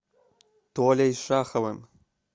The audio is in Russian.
толей шаховым